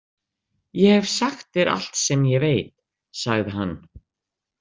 Ég hef sagt þér allt sem ég veit, sagði hann.